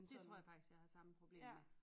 Det tror jeg faktisk jeg har samme problem med